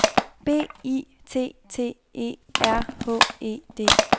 B I T T E R H E D